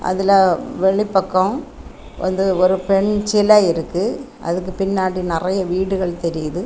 அதுல வெளி பக்கம் வந்து ஒரு பெண் சில இருக்கு அதுக்கு பின்னாடி நெறைய வீடுகள் தெரியுது.